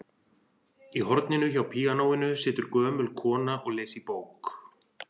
Í horninu hjá píanóinu situr gömul kona og les í bók.